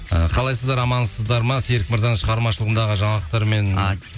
і қалайсыздар амансыздар ма серік мырзаның шығармашылығындағы жаңалықтармен